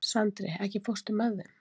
Sandri, ekki fórstu með þeim?